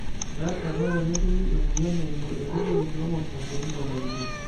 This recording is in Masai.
keasa ena tenetumi emoyian eimu enkoitoi e chromosome teneitiamakinoi.